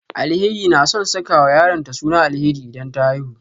Alheri na son sakawa yaronta suna Alheri idan ta haihu